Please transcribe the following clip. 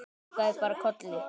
Kinkaði bara kolli.